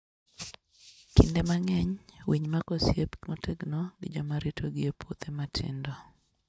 Kinde mang'eny, winy mako osiep motegno gi joma ritogi e puothe matindo.